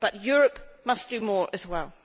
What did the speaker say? Europe must do more as well.